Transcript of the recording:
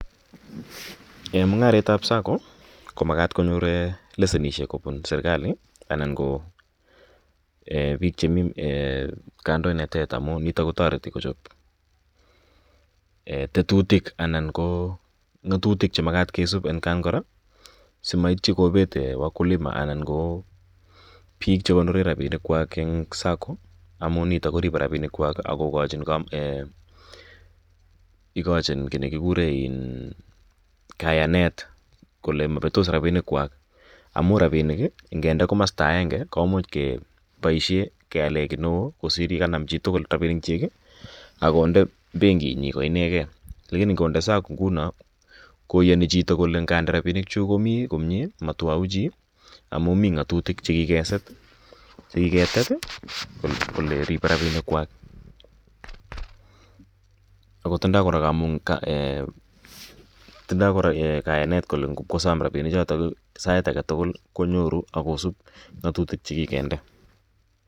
en mungareet ab SACCO komagaat konyoor lesyenisyek kobun serkalii anan ko biik chemii um eeh kandoinatet amun niton kotoreti kochop tetutik anan ko ngotutik chemagat kisuup atkaan koraa simaait kobeet wakulima anan koo biik chegonore rabinik kwaak en SACCO amuin nito koribe rabink kwaak ak kogochin um eeeh igochin kiit negigureen kayanet kole mobetoss rabinik kwaak amun rabinik ngendee gomostaa aenge komuuch keboisien kyaleen gii neoo kosiir yeganam chitugul rabinik kyiik iih ak konde benkiit nyiin ko inegei lakini ngondee SACCO kounon koyoni chito kole ngande rabinik chuuk komii komie motwoee chii omun mii ngotutik chegigesiir chegigetet iih kole riibe rabinik kwaak, ago tindoo koraa um eeh um kayaneet kole ngwogosom rabinik choton sait agetugul konyoruu agosuub ngotutik chegigindee